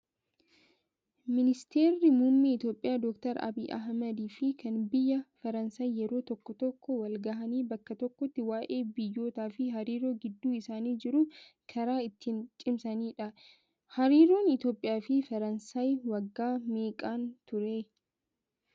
Ministeerri muummee Itoophiyaa doktar Abiyyi Ahmad fi kan biyya Faransaay yeroo tokko tokko wal gahanii bakka tokkotti waayee biyyootaa fi hariiroo gidduu isaanii jiru karaa ittiin cimsanidha. Hariiroon Itoophiyaa fi Faransaay waggaa meeqaan turee?